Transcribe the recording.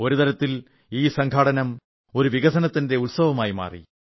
ഒരുതരത്തിൽ ഈ സംഘാടനം ഒരു വികസന ഉത്സവമായി മാറി